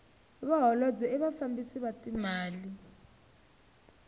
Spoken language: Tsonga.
vaholobye i vafambisi va timali